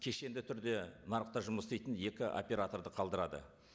кешенді түрде нарықта жұмыс істейтін екі операторды қалдырады